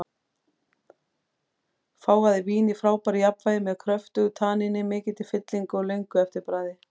Fágað vín í frábæru jafnvægi, með kröftugu tanníni, mikilli fyllingu og löngu eftirbragði.